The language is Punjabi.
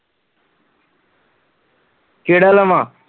ਕੇਹੜਾ ਲਵਾਂ